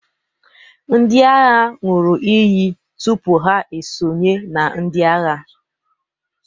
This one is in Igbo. ndị agha ṅụrụ iyi tupu ha esonye na ndị agha